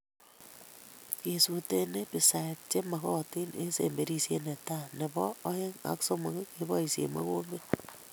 Kesutee herbicides che magotin eng semberisiet netai na nebo oeng ak somok keboisie mokombet